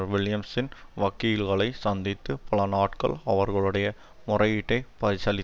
வில்லியம்சின் வக்கீல்களை சந்தித்து பலநாட்கள் அவர்களுடைய முறையீட்டை பரிசீலித்தார்